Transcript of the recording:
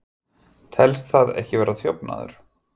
Telst það ekki vera þjófnaður?